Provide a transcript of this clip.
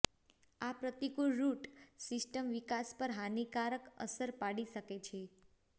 આ પ્રતિકૂળ root system વિકાસ પર હાનિકારક અસર પડી શકે છે